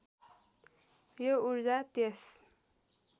यो ऊर्जा त्यस